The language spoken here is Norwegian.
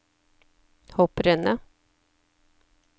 hopprennet